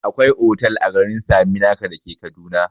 Akwai otal a garin saminaka dake kaduna